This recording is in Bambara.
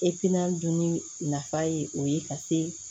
dunni nafa ye o ye ka se